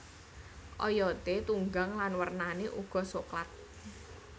Oyote tunggang lan wernane uga soklat